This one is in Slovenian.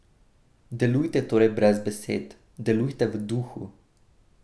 Delujte torej brez besed, delujte v duhu!